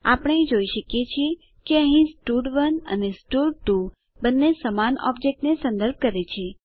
આપણે જોઈ શકીએ છીએ કે અહીં સ્ટડ1 અને સ્ટડ2 બંને સમાન ઓબજેક્ટ ને સંદર્ભ કરે છે